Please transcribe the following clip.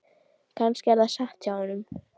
Kannski er það satt hjá honum.